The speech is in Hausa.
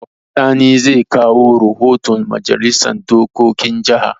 Sani zai kawo rahoton Majalisar dokokin jaha.